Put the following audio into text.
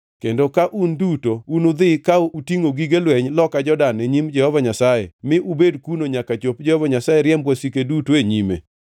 kendo ka un duto unudhi ka utingʼo gige lweny loka Jordan e nyim Jehova Nyasaye mi ubed kuno nyaka chop Jehova Nyasaye riemb wasike duto e nyime,